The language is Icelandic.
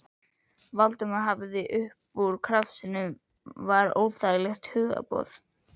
Valdimar hafði haft upp úr krafsinu var óþægilegt hugboð.